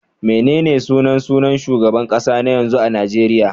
Menene sunan sunan shugaban kasa na yanzu a Najeriya?